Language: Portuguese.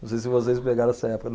Não sei se vocês pegaram essa época.